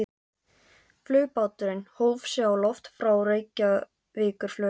Flugbáturinn hóf sig á loft frá Reykjavíkurflugvelli.